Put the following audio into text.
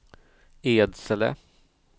Edsele